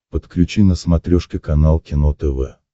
подключи на смотрешке канал кино тв